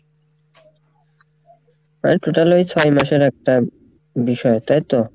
ওই total ওই ছয় মাস এর একটা বিষয় তাই তো?